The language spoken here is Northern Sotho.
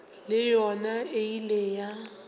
le yona e ile ya